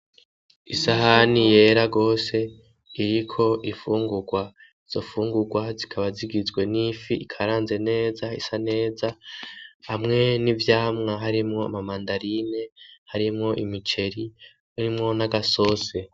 Isahani yera rwose iriko ifungurwa zofungurwa zikaba zigizwe n'ifi ikaranze neza isa neza hamwe n'ivyamwa harimwo mamandarine harimwo imiceri rimwo n'agasose.